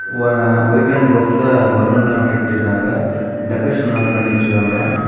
Ah white and ரோஸ்ல balloon எல்லாம் நறைய கட்டிருக்காங்க டெக்கரேஷன் நல்ல பண்ணி வச்சிருக்காங்க.